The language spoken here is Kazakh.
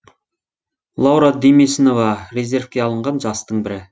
лаура демесінова резервке алынған жастың бірі